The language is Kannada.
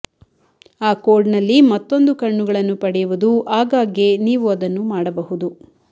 ಆ ಕೋಡ್ನಲ್ಲಿ ಮತ್ತೊಂದು ಕಣ್ಣುಗಳನ್ನು ಪಡೆಯುವುದು ಆಗಾಗ್ಗೆ ನೀವು ಅದನ್ನು ಮಾಡಬಹುದು